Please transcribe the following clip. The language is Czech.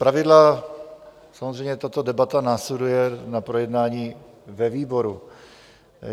Zpravidla samozřejmě tato debata následuje na projednání ve výboru.